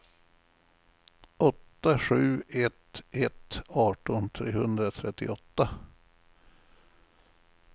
åtta sju ett ett arton trehundratrettioåtta